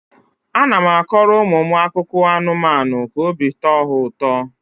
A na m akọrọ ụmụ m akụkọ anụmanụ ka obi tọọ ha ụtọ.